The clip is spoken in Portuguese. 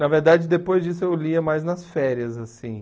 Na verdade, depois disso eu lia mais nas férias, assim.